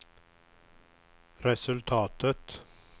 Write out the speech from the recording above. resultatet